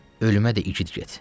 Ölümə də igid get.